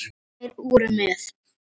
Þær voru með